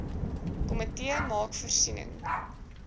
komitee maak voorsiening